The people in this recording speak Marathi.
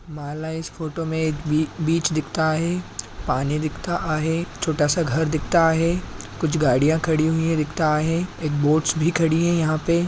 मला इस फोटो मे एक बी-बीच दिखता आहे पानी दिखता आहे छोटासा घर दिखता आहे कुछ गाड़ियां खड़ी हुए दिखता आहे एक बोट्स भी खड़ी है यहाँ पे।